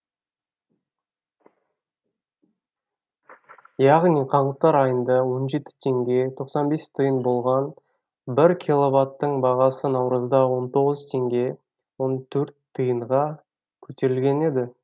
яғни қаңтар айында он жеті теңге тоқсан бес тиын болған бір киловатттың бағасы наурызда он тоғыз теңге он төрт тиынға көтерілген еді